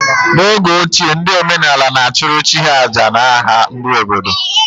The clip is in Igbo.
N’oge ochie, ndị omenaala na-achụrụ chi ha àjà n’aha ndị obodo